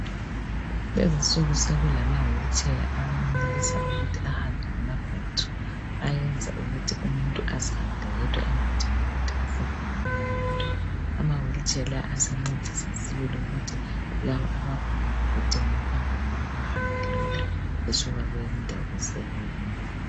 Kulezi insuku sokulama wheelchair ayenelisa ukuthi ahambe ngamabattery ayenza ukuthi umuntu azihambele yedwa angadingi ukuthi afakwe ngomunye umuntu. Amawheel chair la asencedisa sibili ukuthi laba abagulayobedinga ukuhamba ngawo behambe lula besuka kweyinye indawo besiya kweyinye.